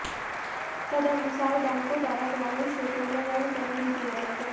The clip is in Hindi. तदनुसार बैंकों द्वारा ग्रामीण क्षेत्रों में ऋण कम ही दिया जाएगा